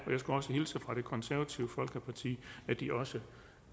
jeg skulle hilse fra det konservative folkeparti og de også